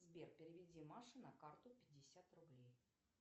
сбер переведи маше на карту пятьдесят рублей